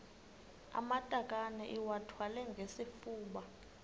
amatakane iwathwale ngesifuba